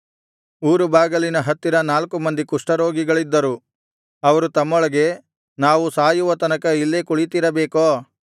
ಊರುಬಾಗಿಲಿನ ಹತ್ತಿರ ನಾಲ್ಕು ಮಂದಿ ಕುಷ್ಠರೋಗಿಗಳಿದ್ದರು ಅವರು ತಮ್ಮೊಳಗೆ ನಾವು ಸಾಯುವ ತನಕ ಇಲ್ಲೇ ಕುಳಿತಿರಬೇಕೋ